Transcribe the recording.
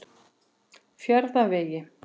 Fjarðarvegi